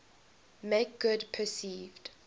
make good perceived